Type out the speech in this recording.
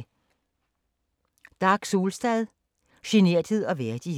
Dag Solstad: Generthed og værdighed